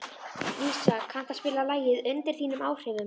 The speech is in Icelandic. Dísa, kanntu að spila lagið „Undir þínum áhrifum“?